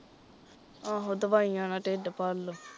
ਆਹੋ ਦਵਾਈਆਂ ਨਾਲ਼ ਢਿੱਡ ਭਰਲੋ